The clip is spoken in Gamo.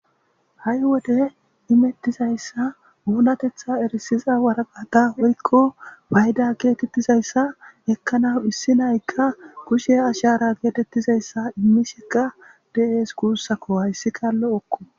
Ha7i wode erissizayssa woyko nunatetha erissizayssa waraqaata woyko fayda geetettizayssa ekkanaas issina7ay kushe ashaara immishe.dizayssa bessees hayssikka lo7okko.